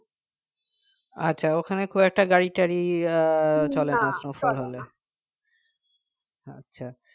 আচ্ছা ওখানে খুব একটা গাড়ি টাড়ি আহ চলে না snowfall হলে আচ্ছা